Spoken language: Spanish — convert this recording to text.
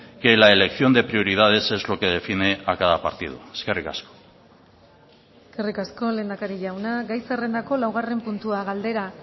que la elección de prioridades es lo que define a cada partido eskerrik asko eskerrik asko lehendakari jauna gai zerrendako laugarren puntua galdera